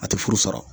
A tɛ furu sɔrɔ